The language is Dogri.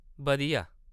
बधिया।